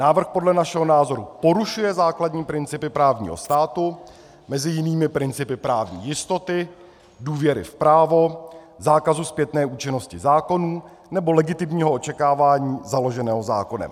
Návrh podle našeho názoru porušuje základní principy právního státu, mezi jinými principy právní jistoty, důvěry v právo, zákazu zpětné účinnosti zákonů nebo legitimního očekávání založeného zákonem.